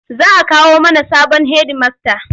Za a kawo mana sabon hedimasta.